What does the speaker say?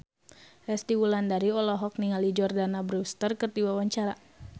Resty Wulandari olohok ningali Jordana Brewster keur diwawancara